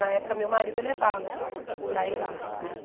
Na época, meu marido eu levava para ir lá.